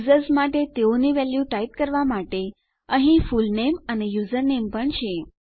users માટે તેઓની value type કરવા માટે અહીં ફુલનેમ અને યુઝરનેમ પણ છે